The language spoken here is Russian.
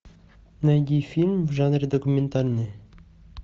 найди фильм в жанре документальный